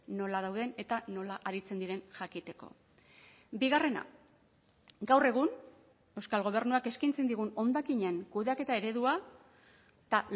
nola dauden eta nola aritzen diren jakiteko bigarrena gaur egun euskal gobernuak eskaintzen digun hondakinen kudeaketa eredua eta